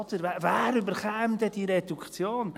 Wer würde diese Reduktion denn bekommen?»